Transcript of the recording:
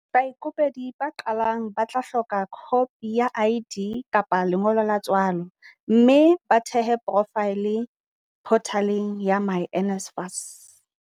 Baikopedi ba qalang ba tla hloka khopi ya ID kapa ya lengolo la tswalo mme ba thehe porofaele photaleng ya myNSFAS.